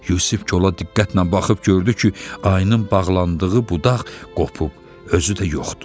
Yusif kola diqqətlə baxıb gördü ki, ayının bağlandığı budaq qopub, özü də yoxdur.